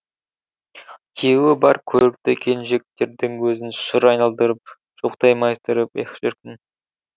күйеуі бар көрікті келіншектердің өзін шыр айналдырып шыбықтай майыстырып ех шіркін